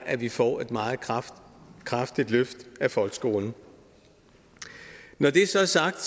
at vi får et meget kraftigt kraftigt løft af folkeskolen når det så er sagt